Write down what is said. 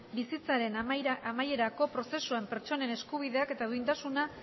bizitzaren amaierako prozesuan pertsonen eskubideak eta duintasuna